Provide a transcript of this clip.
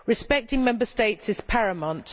Respecting Member States is paramount.